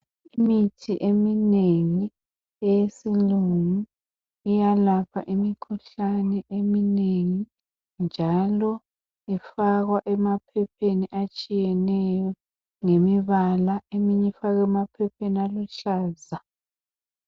Imithi eminengi eyesilungu iyalapha imikhuhlane iminengi njalo ifakwa emaphepheni atshiyeneyo ngemibala , leminye ifakwa emaphepheni aluhlaza.